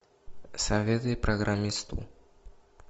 советы программисту